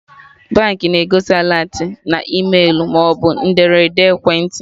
Baankị na-egosi alertị na e-mailu maọbụ n'ederede ekwentị